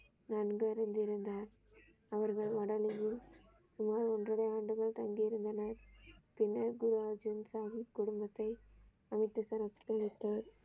நன்கு அறிந்திருந்தார் அவர்கள் உடனேயுமே ஒன்றரை ஒன்று ஆண்டுகள் தங்கி இருந்தனர் பின்னர் குரு ஹர் சாகிப் குடும்பத்தை அனைத்து சார்பில் விட்டார்.